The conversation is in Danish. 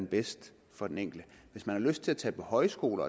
bedst for den enkelte hvis man har lyst til at tage på højskole